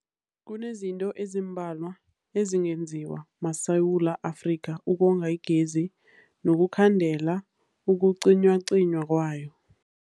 Kunezinto ezimbalwa ezingenziwa maSewula Afrika ukonga igezi nokukhandela ukucinywacinywa kwayo.